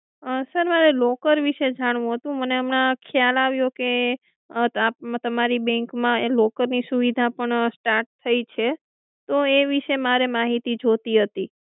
sir મારે locker વિષે જાણવું હતું મને હમણાં ખ્યાલ આવ્યો કે તમારી bank માં locker ની સુવિધા પણ start થઇ છે તો એ વિષે મારે માહિતી જોઈતી હતી